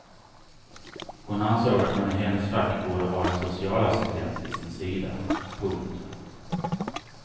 Hon ansåg att man i hennes fack borde ha en socialassistent vid sin sida. punkt